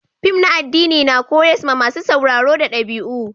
Fim na addini na koyars ma masun sauraro da dabi'u.